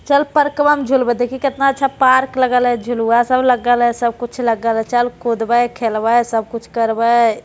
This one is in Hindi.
चल पर्कवा में झुलबै | देखहि केतना आच्छा पार्क लगल हइ | झुलवा सब लगल हइ सब कुछ लगल हइ चल कुदबै खेलबै सब कुछ करबै।